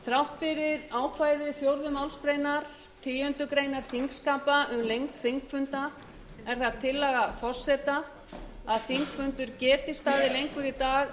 þrátt fyrir ákvæði fjórðu málsgreinar tíundu greinar þingskapa um lengd þingfunda er það tillaga forseta að þingfundur geti staðið lengur í dag